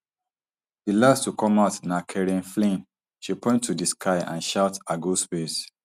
di last to come out na kerianne flynn she point to di sky and shout i go space